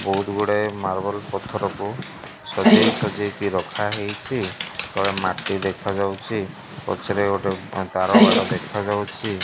ବୋହୁତ୍ ଗୁଡେ଼ ମାର୍ବଲ ପଥରକୁ ସଜେଇ-ସଜେଇ କି ରଖା ହେଇଚି ତଳେ ମାଟି ଦେଖା ଯାଉଚି ପଛରେ ଗୋଟେ ତାର ବାଡ଼ ଦେଖା ଯାଉଚି।